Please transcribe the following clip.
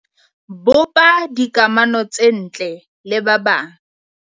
Bopa dikamono ts ntle le ba bang.